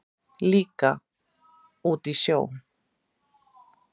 Líka út í sjó.